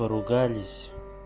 поругались